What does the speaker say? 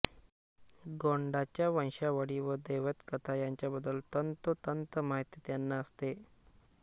गोंडांच्या वंशावळी व दैवतकथा यांच्याबद्दल तंतोतंत माहिती त्यांना असते